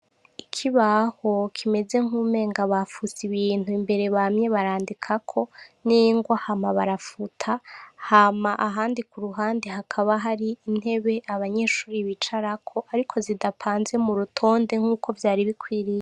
ikibaho kimeze nkuwumengo bafuse ibintu imbere bamye barandikako ningwa hama barafuta hama ahandi kuruhande hakaba hari intebe abanyeshure bicarako ariko zidatonze murutonde nkuko vyari bikwiriye